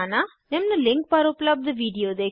निम्न लिंक पर उपलब्ध वीडिओ देखें